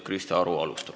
Krista Aru alustab.